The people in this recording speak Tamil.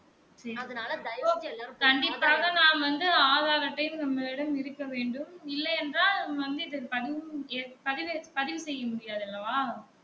கண்டிப்பாக நான் வந்து ஆதார் அட்டை உங்களிடம் இருக்க வேண்டும் இல்லை என்றால் பதிவு செய்ய முடியாது அல்லவா